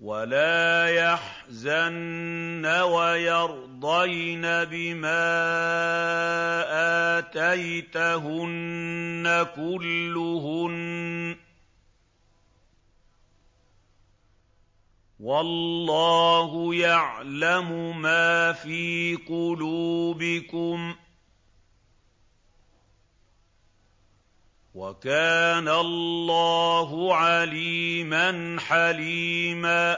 وَلَا يَحْزَنَّ وَيَرْضَيْنَ بِمَا آتَيْتَهُنَّ كُلُّهُنَّ ۚ وَاللَّهُ يَعْلَمُ مَا فِي قُلُوبِكُمْ ۚ وَكَانَ اللَّهُ عَلِيمًا حَلِيمًا